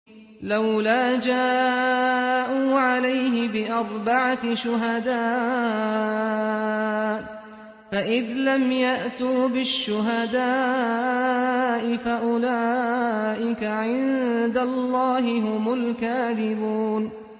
لَّوْلَا جَاءُوا عَلَيْهِ بِأَرْبَعَةِ شُهَدَاءَ ۚ فَإِذْ لَمْ يَأْتُوا بِالشُّهَدَاءِ فَأُولَٰئِكَ عِندَ اللَّهِ هُمُ الْكَاذِبُونَ